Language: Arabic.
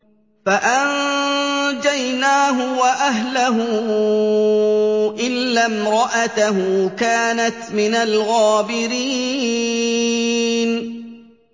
فَأَنجَيْنَاهُ وَأَهْلَهُ إِلَّا امْرَأَتَهُ كَانَتْ مِنَ الْغَابِرِينَ